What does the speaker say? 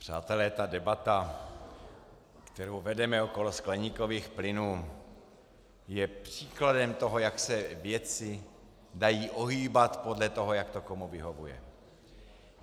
Přátelé, ta debata, kterou vedeme okolo skleníkových plynů je příkladem toho, jak se věci dají ohýbat podle toho, jak to komu vyhovuje.